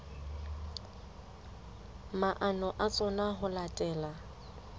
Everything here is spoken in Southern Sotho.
maano a tsona ho latela